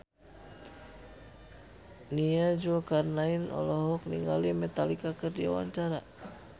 Nia Zulkarnaen olohok ningali Metallica keur diwawancara